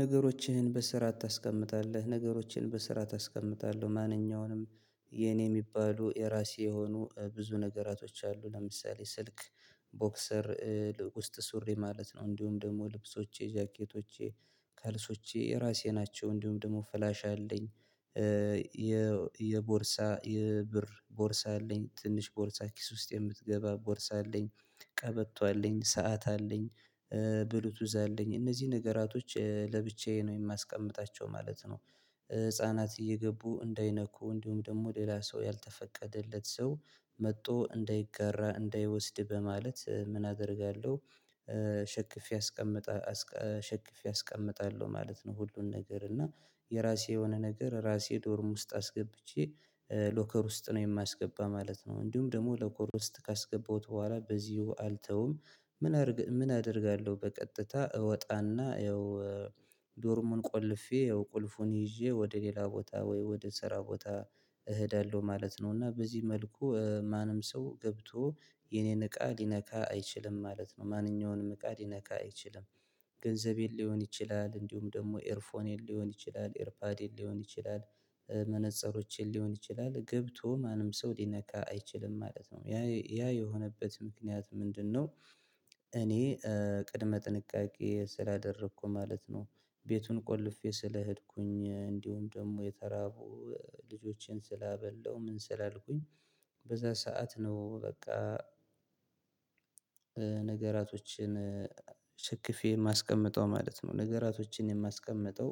ነገሮችህን በስርዓት ታስቀምጣለህ ነገሮቼን በስርዓት አስቀምጣለሁ። ማንኛውንም የኔ የሚባሉ የራሴ የሆኑ ብዙ ነገራቶች አሉ። ለምሳሌ ስልክ ቦክሰር ውስጥ ሱሪ ማለት ነው። እንዲሁም ደግሞ ልብሶቼ ጃኬቶቼ ካልሲዋቼ የራሴ ናቸው። እንዲሁም ደግሞ ፍላሽ አለኝ። የቦርሳ የብር ቦርሳ አለኝ ትንሽ ቦርሳ ኪስ ውስጥ የምትገባ ቦርሳ አለኝ። ቀበቶ አለኝ ሰዓት አለኝ። ብሉቱዝ አለኝ እነዚህ ነገራቶች ለብቻዬ ነው የማስቀምጣቸው ማለት ነው። ህፃናት እየገቡ እንዳይነኩ እንዲሁም ደግሞ ሌላ ሰው ያልተፈቀደለት ሰው መጥቶ እንዳይጋራ እንዳይወስድ በማለት ምን አደርጋለሁ? ሸክፌ አስቀምጣለሁ ማለት ነው። ሁሉን ነገር እና የራሴ የሆነ ነገር ራሴ ዶርም ውስጥ አስገብቼ ሎከር ውስጥ ነው የማስገባ ማለት ነው። እንዲሁም ደግሞ ሎከር ውስጥ ካስገባሁት በኋላ በዚሁ አልተውም። ምን አደርጋለሁ? በቀጥታ እወጣና ያው ዶርሙን ቆልፌ ያው ቁልፉን ይዤ ወደ ሌላ ቦታ ወይ ወደ ስራ ቦታ እሄዳለሁ ማለት ነው። እና በዚህ መልኩ ማንም ሰው ገብቶ የኔን እቃ ሊነካ አይችልም ማለት ነው። ማንኛውንም እቃ ሊነካ አይችልም። ገንዘቤን ሊሆን ይችላል እንዲሁም ደግሞ ኤርፎኔን ሊሆን ይችላል ኤርፓዴን ሊሆን ይችላል መነፅሮችን ሊሆን ይችላል ገብቶ ማንም ሰው ሊነካ አይችልም ማለት ነው። ያ ያ የሆነበት ምክንያት ምንድነው? እኔ ቅድመ ጥንቃቄ ስላደረኩ ማለት ነው። ቤቱን ቆልፌ ስለሄድኩኝ እንዲሁም ደግሞ የተራቡ ልጆቼን ስላበላሁ ምን ስላልኩኝ በዛ ሰዓት ነው በቃ። ነገራቶችን ሸክፌ የማስቀምጠው ማለት ነው። ነገራቶችን የማስቀምጠው።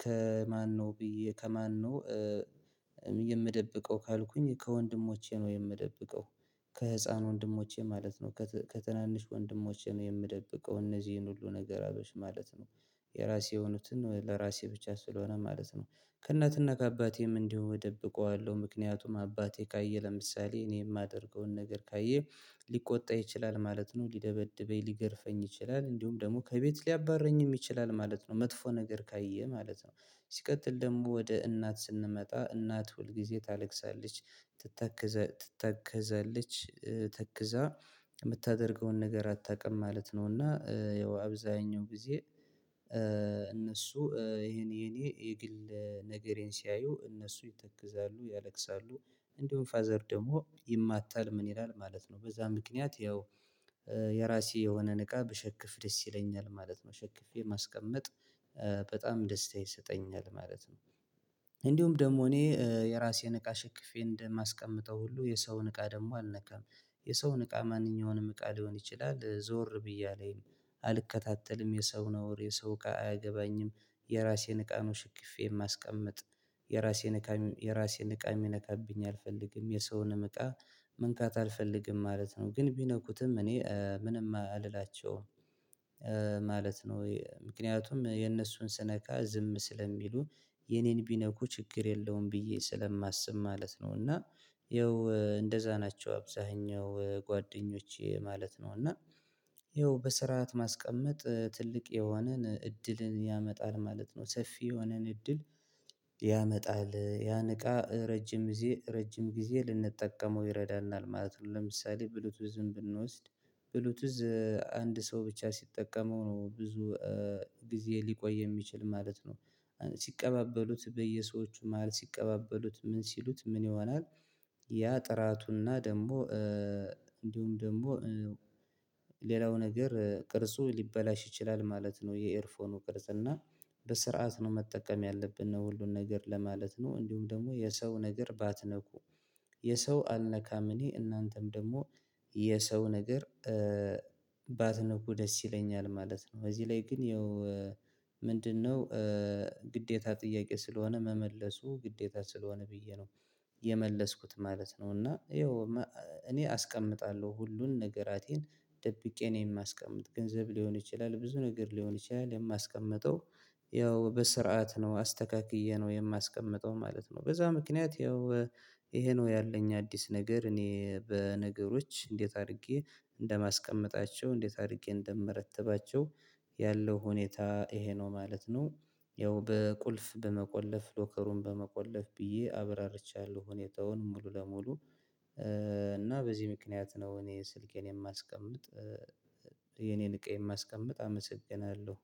ከማነው ብዬ ከማነው? የምደብቀው ካልኩኝ ከወንድሞቼ ነው የምደብቀው። ከህፃን ወንድሞቼ ማለት ነው። ከትናንሽ ወንድሞቼ ነው የምደብቀው እነዚህን ሁሉ ነገር አበሽ ማለት ነው። የራሴ የሆኑትን ለራሴ ብቻ ስለሆነ ማለት ነው። ከእናትና ከአባቴም እንዲሁ እደብቀዋለሁ ምክንያቱም አባቴ ካየ ለምሳሌ እኔ የማደርገውን ነገር ካየ ሊቆጣ ይችላል። ማለት ነው ሊደበድበኝ ሊገርፈኝ ይችላል እንዲሁም ደግሞ ከቤት ሊያባርረኝም ይችላል ማለት ነው። መጥፎ ነገር ካየ ማለት ነው። ሲቀጥል ደግሞ ወደ እናት ስንመጣ እናት ሁልጊዜ ታለቅሳለች። ትተክዛለች ተክዛ የምታደርገውን ነገር አታውቅም ማለት ነው። እና ያው አብዛኛው ጊዜ እነሱ ይሄን የኔ የግል ነገሬን ሲያዩ እነሱ ይተክዛሉ ያለቅሳሉ። እንደውም ፋዘር ደግሞ ይማታል ምን ይላል ማለት ነው። በዛ ምክንያት ያው የራሴ የሆነን እቃ ብሸክፍ ደስ ይለኛል ማለት ነው። ሸክፌ ማስቀመጥ በጣም ደስታ ይሰጠኛል ማለት ነው። እንዲሁም ደግሞ እኔ የራሴን እቃ ሸክፌ እንደማስቀምጠው ሁሉ የሰውን እቃ ደግሞ አልነካም። የሰውን እቃ ማንኛውንም እቃ ሊሆን ይችላል ዞር ብዬ አላይም። አልከታተልም የሰው ነውር የሰው እቃ አያገባኝም። የራሴን እቃ ነው ሽክፌ የማስቀምጥ። የራሴን እቃ የራሴን እቃ የሚነካብኝ አልፈልግም የሰውንም እቃ መንካት አልፈልግም ማለት ነው። ግን ቢነኩትም እኔ ምንም አልላቸውም። ማለት ነው ምክንያቱም የነሱን ስነካ ዝም ስለሚሉ የኔን ቢነኩ ችግር የለውም ብዬ ስለማስብ ማለት ነው። እና ይኸው እንደዛ ናቸው አብዛኛው ጓደኞቼ ማለት ነው። እና ይኸው በስርዓት ማስቀመጥ ትልቅ የሆነን እድልን ያመጣል ማለት ነው። ሰፊ የሆነን እድል ያመጣል ያን እቃ ረጅም ጊዜ ረጅም ጊዜ ልንጠቀመው ይረዳናል ማለት ነው። ለምሳሌ ብሉቱዝን ብንወስድ። ብሉቱዝ አንድ ሰው ብቻ ሲጠቀመው ነው ብዙ ጊዜ ሊቆይ የሚችል ማለት ነው። ሲቀባበሉት በየሰዎቹ መሃል ሲቀባበሉት ምን ሲሉት ምን ይሆናል? ያ ጥራቱና ደግሞ እንዲሁም ደግሞ ሌላው ነገር ቅርጹ ሊበላሽ ይችላል ማለት ነው። የኤርፎኑ ቅርጽ እና በስርዓት ነው መጠቀም ያለብን ነው ሁሉን ነገር ለማለት ነው። እንዲሁም ደግሞ የሰው ነገር ባትነኩ የሰው አልነካም እኔ እናንተም ደግሞ የሰው ነገር ባትነኩ ደስ ይለኛል ማለት ነው። በዚህ ላይ ግን ያው ምንድነው? ግዴታ ጥያቄ ስለሆነ መመለሱ ግዴታ ስለሆነ ብዬ ነው የመለስኩት ማለት ነው። እና ይኸው እኔ አስቀምጣለሁ ሁሉን ነገራቴን ደብቄ ነው የማስቀምጥ ገንዘብ ሊሆን ይችላል ብዙ ነገር ሊሆን ይችላል የማስቀምጠው። ያው በስርዓት ነው አስተካክዬ ነው የማስቀምጠው ማለት ነው። በዛ ምክንያት ያው ይሄ ነው ያለኝ አዲስ ነገር እኔ በነገሮች እንዴት አድርጌ እንደማስቀምጣቸው እንዴት አድርጌ እንደምረትባቸው ያለው ሁኔታ ይሄ ነው ማለት ነው። ያው በቁልፍ በመቆለፍ ሎከሩን በመቆለፍ ብዬ አብራርቻለሁ ሁኔታውን ሙሉ ለሙሉ። እና በዚህ ምክንያት ነው እኔ ስልኬን የማስቀምጥ የኔን እቃ የማስቀምጥ አመሰግናለሁ